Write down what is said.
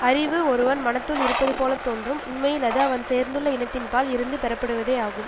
அறிவு ஒருவன் மனத்துள் இருப்பது போல தோன்றும் உண்மையில் அது அவன் சேர்ந்துள்ள இனத்தின்பால் இருந்து பெறப்படுவதே ஆகும்